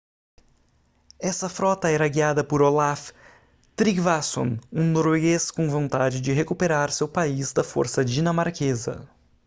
essa frota era guiada por olaf trygvasson um norueguês com vontade de recuperar seu país da força dinamarquesa